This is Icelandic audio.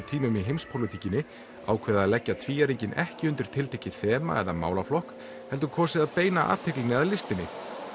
tímum í heimspólitíkinni ákveðið leggja tvíæringinn ekki undir tiltekið þema eða málaflokk heldur kosið að beina athyglinni að listinni